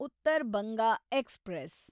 Uttar Banga express